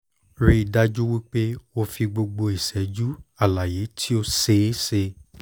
rii daju wipe o fi gbogbo iṣẹju alaye ti o ṣeeṣe